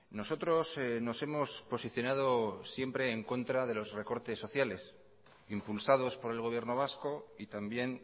nosotros nos hemos posicionado siempre en contra de los recortes sociales impulsados por el gobierno vasco y también